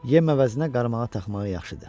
Yem əvəzinə qarmağa taxmağı yaxşıdır.